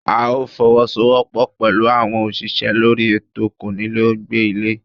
A máa fọwọ́ sọ wọ́pọ̀ pẹ̀lú àwọn òṣìṣẹ́ lórí ètò konile ó gbé ilé